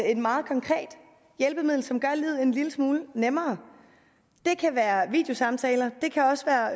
et meget konkret hjælpemiddel som gør livet en lille smule nemmere det kan være videosamtaler det kan også være